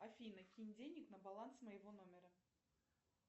афина кинь денег на баланс моего номера